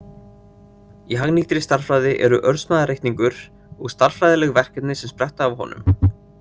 Í hagnýttri stærðfræði eru örsmæðareikningur og stærðfræðileg verkefni sem spretta af honum.